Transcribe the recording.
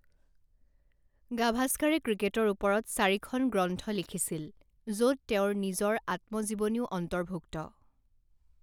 গাভাস্কাৰে ক্ৰিকেটৰ ওপৰত চাৰিখন গ্ৰন্থ লিখিছিল, য'ত তেওঁৰ নিজৰ আত্মজীৱনীও অন্তৰ্ভুক্ত।